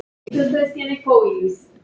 Henni hafði brugðið svo mikið.